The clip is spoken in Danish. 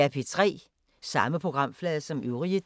Samme programflade som øvrige dage